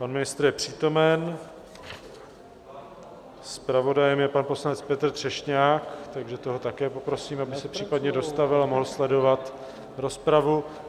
Pan ministr je přítomen, zpravodajem je pan poslanec Petr Třešňák, takže toho také poprosím, aby se případně dostavil a mohl sledovat rozpravu.